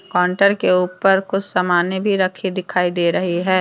Counter के ऊपर कुछ सामने भी रखी दिखाई दे रही है।